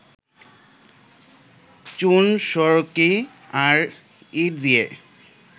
চুন-সুড়কি আর ইট দিয়ে